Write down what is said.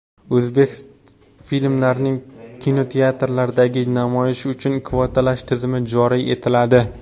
O‘zbek filmlarining kinoteatrlardagi namoyishi uchun kvotalash tizimi joriy etiladi.